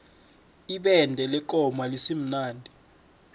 ibende lekomo alisimnandi